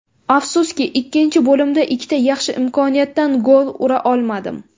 Afsuski, ikkinchi bo‘limda ikkita yaxshi imkoniyatdan gol ura olmadim.